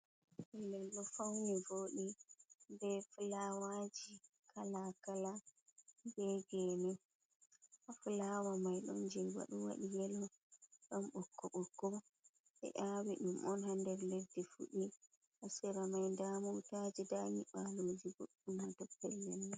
Felel ɗo fauni voɗi be fulawaji kalakala be gene ha fulawa mai ɗon je beɗo waɗi yelo ndon ɓokko ɓokko ɓe awi ɗum ha nder leɗɗi fuɗi hasira mai nda motaji nda nyiɓaloji boɗɗum ha do pellel man.